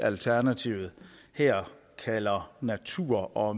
alternativet her kalder natur og